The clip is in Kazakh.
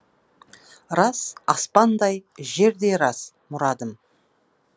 рас аспандай жердей рас мұрадым